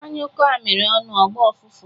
Anyukoo amiri onu, ogboo ufufu